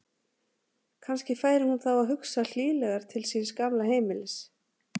Kannski færi hún þá að hugsa hlýlegar til síns gamla heimilis.